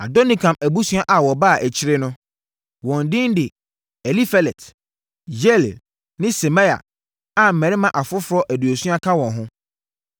Adonikam abusua a wɔbaa akyire no: wɔn din de Elifelet, Yeiel, ne Semaia, a mmarima afoforɔ aduosia ka wɔn ho.